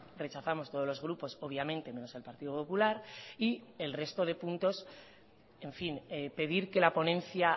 rechazamos todos los grupos obviamente menos el partido popular y el resto de puntos en fin pedir que la ponencia